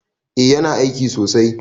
Eh yana aiki sosai